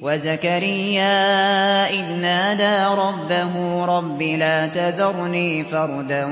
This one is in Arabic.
وَزَكَرِيَّا إِذْ نَادَىٰ رَبَّهُ رَبِّ لَا تَذَرْنِي فَرْدًا